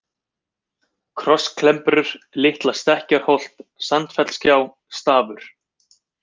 Krossklembrur, Litla-Stekkjarholt, Sandfellsgjá, Stafur